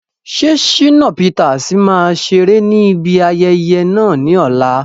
Ṣé Shina Peters máa ṣeré ní ibi ayẹyẹ náà ní ọ̀la?